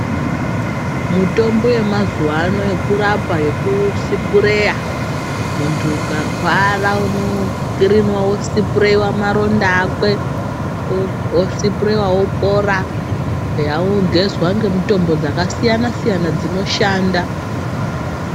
Mutombo ye mazuva ano yekurapa yeku sipureya muntu ukarwara uno kiriniwa wo siperiwa maronda akwe osipireyiwa opora ogezwa nge mutombo dzaka siyana siyana dzino shanda.